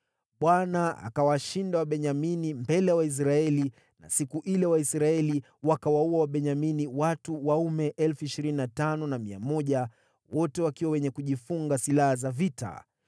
Bwana akawashinda Wabenyamini mbele ya Waisraeli na siku ile Waisraeli wakawaua Wabenyamini watu waume 25,100, wote wakiwa wenye kujifunga silaha za vita.